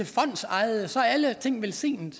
fondsejede så er alle ting velsignede